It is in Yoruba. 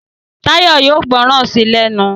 Tayo yóò gbóròn sí lénu.